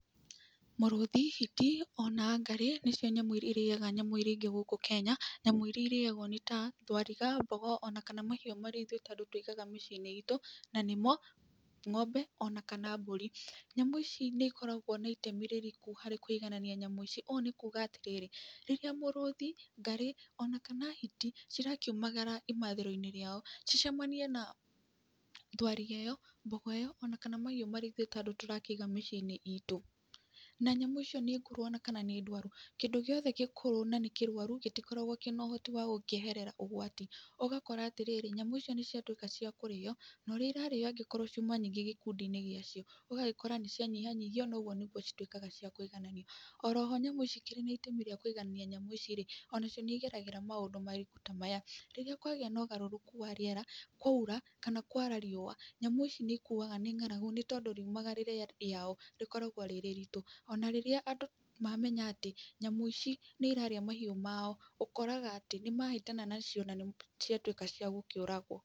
Mũrũthi, hiti, ona ngarĩ, nĩcio nyamũ irĩa irĩaga nyamũ iriĩa ingĩ gũkũ Kenya. Nyamũ irĩa irĩagwo nĩ ta; thwariga, mbogo ona kana mahiũ marĩa ithuĩ ta andũ tuigaga mĩciĩ-inĩ iitũ, na nĩmo; ng'ombe, ona kana mbũri. Nyamũ ici nĩ ikoragwo na itemi rĩritũ harĩ kũiganania nyamũ ici. Ũũ nĩ kuuga atĩrĩrĩ, rĩrĩa mũrũthi, ngarĩ, ona kana hiti cirakiumagara imathĩro-inĩ rĩao, cicemanie na thwarĩga ĩyo, mbogo ĩyo, ona kana mahiũ marĩa ithuĩ ta andũ tũrakĩiga mĩciĩ-inĩ iitũ, na nyamũ icio nĩ ngũrũ ona kana nĩ ndwaru. Kĩndũ gĩothe gĩkũrũ kana nĩ kĩrwaru, gĩtikoragwo na ũhoti wa gũkĩeherera ũgwati. Ũgakora atĩrĩrĩ, nyamũ icio nĩ ciatuĩka cia kũrĩo. Na ũrĩa irarĩo angĩkorwo ciuma nyingĩ gĩkundi-inĩ gĩa cio, ũgagĩkora nĩ cianyihanyihio, na ũguo nĩguo cikoragwo cia kũigananio. Oroho nyamũ ici ikĩrĩ na itemi rĩa kũiganania nyamũ ici rĩ, onacio nĩ igeragĩra maũndũ maritũ ta maya; rĩrĩa kwagĩa na ũgarũrũku wa rĩera, kwaura, kana kwara riũa nyamũ ici nĩ ikuaga nĩ ng'aragu nĩ tondũ, riumagarĩre rĩao rĩkoragwo rĩrĩ riritũ. Ona rĩrĩa andũ mamenya atĩ, nyamũ ici nĩ irarĩa mahiũ mao, ũkoraga atĩ, nĩmahĩtania nacio na nĩ ciatuĩka cia gũkĩũragwo.